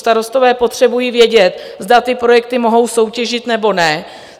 Starostové potřebují vědět, zda ty projekty mohou soutěžit, nebo ne.